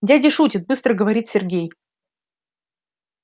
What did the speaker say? дядя шутит быстро говорит сергей